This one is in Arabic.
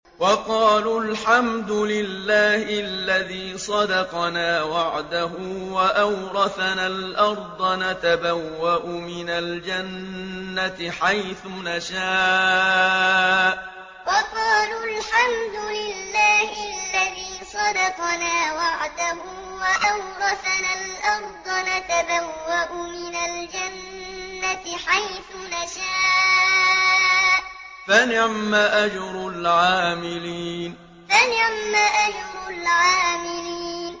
وَقَالُوا الْحَمْدُ لِلَّهِ الَّذِي صَدَقَنَا وَعْدَهُ وَأَوْرَثَنَا الْأَرْضَ نَتَبَوَّأُ مِنَ الْجَنَّةِ حَيْثُ نَشَاءُ ۖ فَنِعْمَ أَجْرُ الْعَامِلِينَ وَقَالُوا الْحَمْدُ لِلَّهِ الَّذِي صَدَقَنَا وَعْدَهُ وَأَوْرَثَنَا الْأَرْضَ نَتَبَوَّأُ مِنَ الْجَنَّةِ حَيْثُ نَشَاءُ ۖ فَنِعْمَ أَجْرُ الْعَامِلِينَ